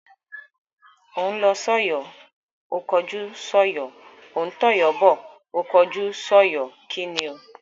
Ó ń lọ sọ́yọ̀ ó kọjú sọ́yọ̀, ó ń tọ̀yọ́ bọ̀ ó kọjú sọ́yọ̀. kíni o?